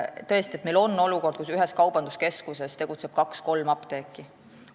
Tõesti, meil on olukord, kus ühes kaubanduskeskuses tegutseb kaks-kolm apteeki.